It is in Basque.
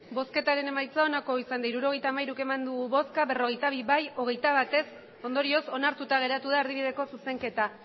emandako botoak hirurogeita hamairu bai berrogeita bi ez hogeita bat ondorioz onartuta geratu da erdibideko zuzenketa